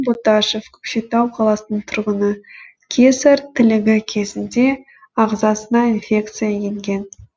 боташев көкшетау қаласының тұрғыны кесар тілігі кезінде ағзасына инфекция енген